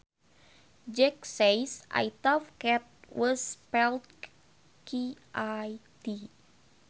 Jack says I thought cat was spelled K A T